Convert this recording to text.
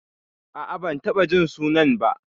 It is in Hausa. A'a, ban taɓa jin sunan ba.